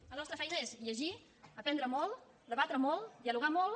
la nostra feina és llegir aprendre molt debatre molt dialogar molt